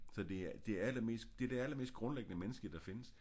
Så det er det allermest det er det allermest grundlæggende menneskelige der findes